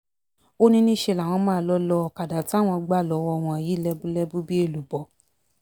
ó ní níṣẹ́ làwọn máa lọ́ọ́ lo ọ̀kadà táwọn gbà lọ́wọ́ wọn yìí lẹ́búlẹ́bú bíi èlùbọ́